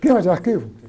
Queima de arquivo